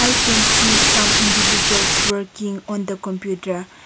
i can see some individuals working on the computer.